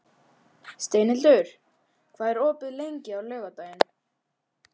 Steinhildur, hvað er opið lengi á laugardaginn?